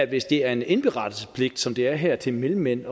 hvis det er en indberetningspligt som det er her til mellemmænd